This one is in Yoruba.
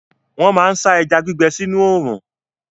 Wọ́n máa ń sá ẹja gbígbẹ sínú òòrùn.